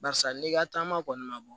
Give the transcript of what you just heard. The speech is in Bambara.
Barisa n'i ka taama kɔni ma bɔ